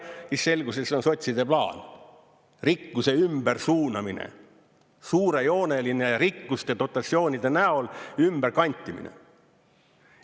Siis selgus, et see on sotside plaan, rikkuse ümbersuunamine, suurejooneline rikkuste dotatsioonide näol ümberkantimine.